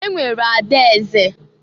E nwere ada eze.